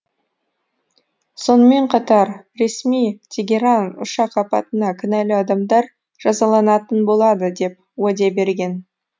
сонымен қатар ресми тегеран ұшақ апатына кінәлі адамдар жазаланатын болады деп уәде берген